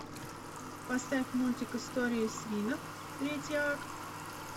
поставь мультик истории свинок третий акт